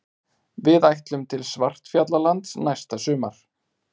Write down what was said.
Við ætlum til Svartfjallalands næsta sumar.